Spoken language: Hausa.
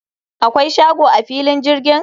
akwai shago a filin jirgin?